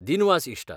दिनवास ईश्टा.